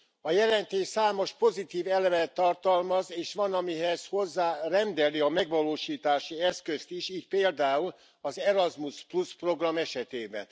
A jelentés számos pozitív elemet tartalmaz, és van, amihez hozzárendeli a megvalósítási eszközt is, így például az Erasmus program esetében.